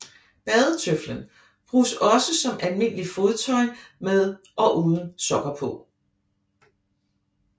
Badetøflen bruges også som almindeligt fodtøj både med og uden sokker på